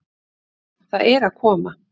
Það er að koma!